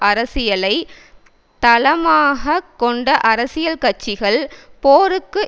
அரசியலை தளமாக கொண்ட அரசியல் கட்சிகள் போருக்கு